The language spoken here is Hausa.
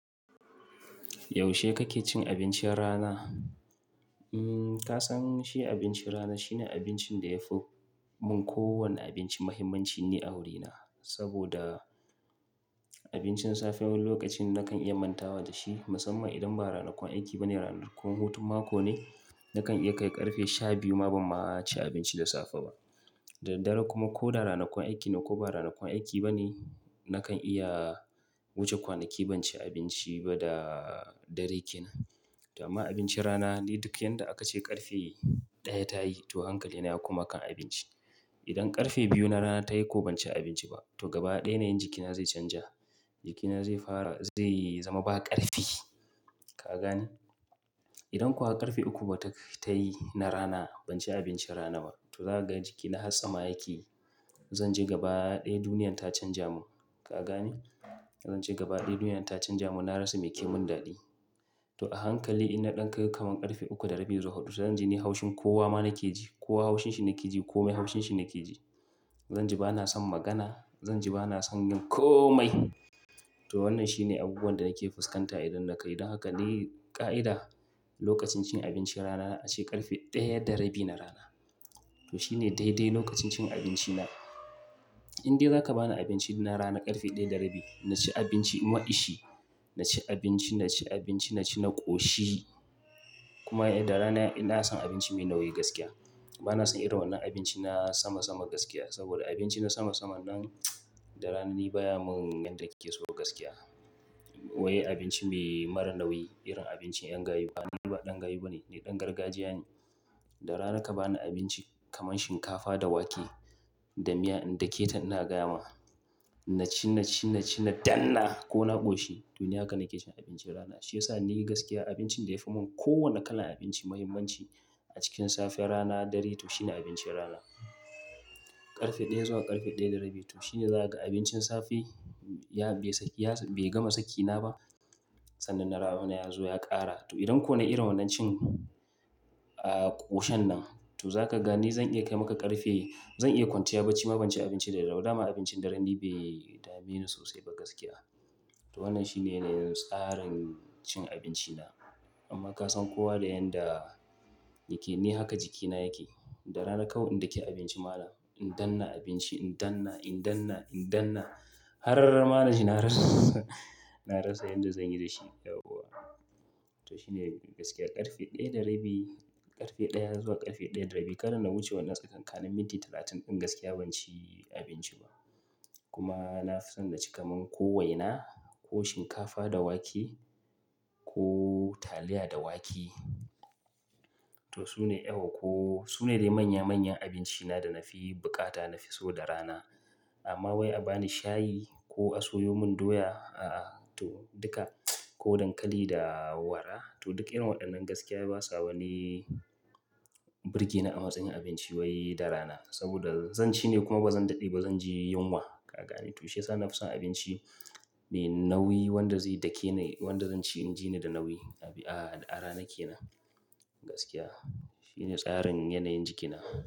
Yaushe kake cin abincin rana? Umm, ka san shi abincin rana shine abincin da yafi mun kowane abinci muhimmanci ni a wurina. Saboda abincin safe wani lokacin nakan iya mantawa da shi, musamman idan ba ranakuwan aiki bane, ranakun hutun mako ne, nakan iya kai ƙarfe shabiyu ma ban ma ci abinci da safe ba. Daddare kuma ko da ranakuwan aiki ne ko ba ranakuwan aiki bane, nakan iya wuce kwanaki ban ci abinci ba da dare ke nan. To amma abincin rana ni duk yanda aka ce ƙarfe daya ta yi to hankalina ya koma kan abinci. Idan ƙarfe biyu na rana ta yi ko ban ci abinci ba to gaba ɗaya yanayin jikina zai canja. Jikina zai fara zai zama ba ƙarfi, ka gane? Idan kuwa ƙarfe uku ba ta yi na rana ban ci abincin rana ba, to za ka ga jikina har tsama yake. Zanji gaba ɗaya duniyan ta canja mun, ka gane? Zanji gaba ɗaya duniyan ta canja mun, na rasa meke mun daɗi. To a hankali in na ɗan kai kaman ƙarfe uku da rabi zuwa hudu, zanji ni haushin kowa ma nake ji, kowa haushin shi nake ji, kome haushin shi nake ji. Zanji ba na san magana, zanji ba na san yin komai. To wannan shine abubuwan da nake fuskanta idan na kai. Don haka ni ƙa'ida lokacin cin abincin rana na ace ƙarfe daya da rabi na rana. To shine daidai lokacin cin abinci na. In dai zaka bani abinci na rana ƙarfe daya da rabi, na ci abinci ma'ishi, na ci abinci, na ci abinci, na ci, na ƙoshi. Kuma eh da rana ina son abinci me nauyi gaskiya. Ba na son irin wannan abinci na sama sama gaskiya. Saboda abinci na sama sama nan da rana ni baya mun yanda nike so gaskiya. Wai abinci me mara nauyi, irin abincin yan gayu. Ni ba ɗan gayu bane, ni ɗan gargajiya ne. Da rana ka bani abinci kamar shinkafa da wake da miya in dake ta ina gaya ma. Na ci, na ci, na ci, na danna ko na ƙoshi, to ni haka nake cin abincin rana. Shi ya sa ni nayi gaskiya abincin da yafi mun kowane kalan abinci muhimmanci a cikin safe rana dare to shine abincin rana. Ƙarfe daya zuwa ƙarfe daya da rabi to shine za ka ga abincin safe ya bai saki, bai gama sakina ba sannan na rana ya zo ya ƙara. To idan ko nai irin wannan cin, ah ƙoshen nan to zaka gani zan iya kai maka ƙarfe, zan iya kwanciya baci ma ban ci abinci da daddare ba. Da ma ni abincin dare ni bai dame ni sosai ba gaskiya. To wannan shine ne tsarin cin abinci na. Amma ka san kowa da yanda yake, ni haka jikina yake. Da rana kawai in daki abinci malan. In danna abinci, in danna, in danna, in danna. Har ma naji na rasa na rasa yanda zan yi da shi yauwa. To shi ne gaskiya ƙarfe daya da rabi, ƙarfe daya zuwa ƙarfe daya da rabi. Kada na wuce wannan tsakankanin minti talatin din gaskiya ban ci abinci ba. Kuma na fi son na ci kaman ko waina ko shinkafa da wake ko taliya da wake. To su ne eh ko su ne dai manya manyan abinci na da na fi buƙata na fi so da rana. Amma wai a bani shayi ko a soyo mun doya, a'a. To duka ko dankali da wara to duk irin waɗannan gaskiya basa wani birge ni a matsayin abinci wai da rana. Saboda zan ci ne kuma bazan daɗe ba zan ji yunwa, ka gane? To shi ya sa na fi son abinci me nauyi wanda zai dake ni, wanda zan ci in ji ni da nauyi. A'a a rana ke nan gaskiya. Shi ne tsarin yanayin jikina.